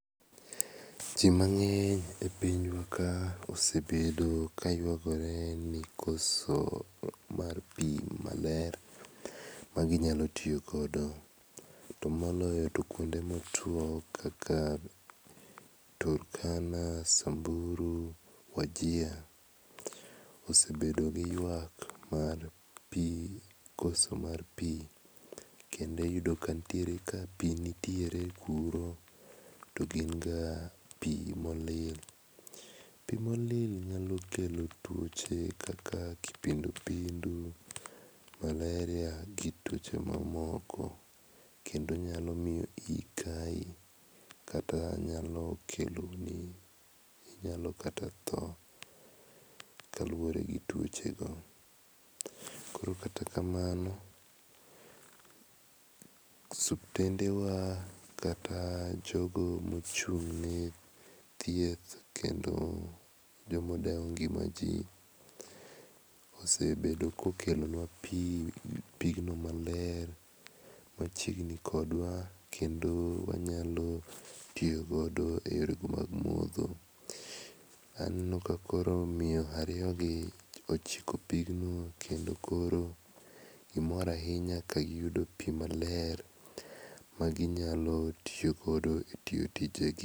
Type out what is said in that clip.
Ji mangeny e pinywa ka osebedo ka ywagore ni koso mar pi maler ma gi nyalo tiyo godo. To moloyo to kuonde ma otuo kaka Turkana , Samburu, Wajir osebedo gi ywak mar pi, koso mar pi. Kendo iyudo ka ntiere ka pi nitiere kuro to gin ga pi ma olil .Pi ma olil nyalo kelo tuoche kaka kipindupindu, malaria gi tuoche ma moko .Kendo nyalo miyo iyi kayi. Kata nyalo kelo ni, inyalo kata tho kaluore gi tuoche go. Koro kata kamano osiptende wa kata jogo ma ochung ne thieth, kendo jo ma odewo ngima ji, osebedo ka okelo nwa pi, pigno maler, ma chiegni kodwa kendo wanyalo tiyo godo e yore go mag modho. Aneno ka koro miyo ariyo gi ochiko pigno kendo koro gi mor ahinya ka giyudo pi maler, ma ginyalo tiyo godo e tije gi.